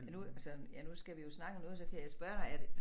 Ja nu altså ja nu skal vi jo snakke om noget så kan jeg spørge dig er det